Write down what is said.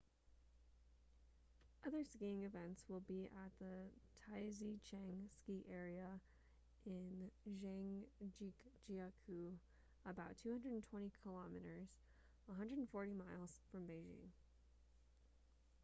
other skiing events will be at the taizicheng ski area in zhangjiakou about 220 km 140 miles from beijing